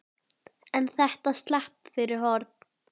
En þetta slapp fyrir horn.